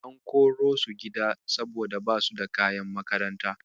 An korosu gida saboda basu da kayan makaranta.